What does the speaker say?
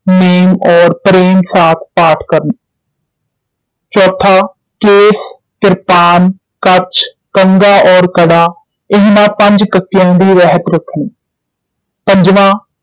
ਦਾ ਨੇਮ ਔਰ ਪ੍ਰੇਮ ਸਾਥ ਪਾਠ ਕਰਨਾ ਚੌਥਾ ਕੇਸ, ਕ੍ਰਿਪਾਨ ਕੱਛ, ਕੰਘਾ ਔਰ ਕੜਾ ਇਹਨਾਂ ਪੰਜ ਕੱਕਿਆਂ ਦੀ ਰਹਿਤ ਰਖਣੀ ਪੰਜਵਾਂ